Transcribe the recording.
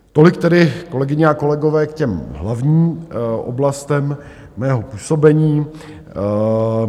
Tolik tedy, kolegyně a kolegové, k těm hlavní oblastem mého působení.